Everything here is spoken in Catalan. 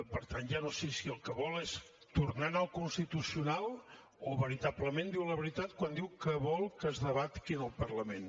per tant ja no sé si el que vol és tornar a anar al constitucional o veritablement diu la veritat quan diu que vol que es debati aquí en el parlament